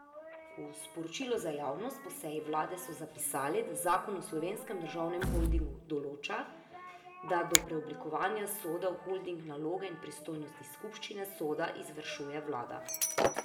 V sporočilu za javnost po seji vlade so zapisali, da zakon o Slovenskem državnem holdingu določa, da do preoblikovanja Soda v holding naloge in pristojnosti skupščine Soda izvršuje vlada.